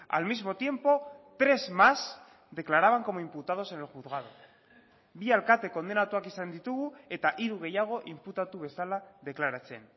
al mismo tiempo tres más declaraban como imputados en el juzgado bi alkate kondenatuak izan ditugu eta hiru gehiago inputatu bezala deklaratzen